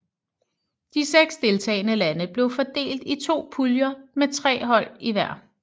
De seks deltagende lande blev fordelt i to puljer med tre hold i hver